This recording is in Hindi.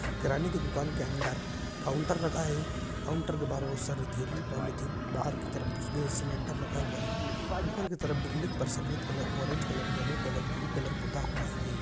किराने की दुकान के अंदर काउन्टर रखा है काउन्टर के बाहर बहुत सारी थेली पॉलिथीन बाहर की तरफ गैस सिलिन्डर रखा हुआ है ऊपर की तरफ बिल्डिंग पर सफेद colour orange colour yellow colour blue colour पुता हुआ है।